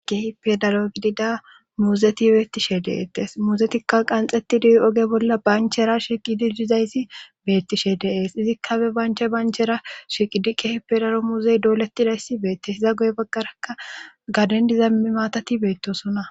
kehipe dalo gidida muuzeti beettishe deeettes muuzetikka qanxetidi7 oge bolla banchera shiqidi dizayssi beettishe deees izikka be banche banchera shiqidiqe hipe dalo muuzey doolettidayssi beettes hiza goy baggaraka gadendiza mi maatati beettosona